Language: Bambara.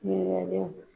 Ɲininkaliw